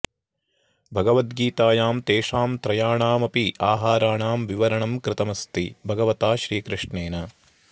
भगवद्गीतायां तेषां त्रयाणाम् अपि आहाराणां विवरणं कृतम् अस्ति भगवता श्रीकृष्णेन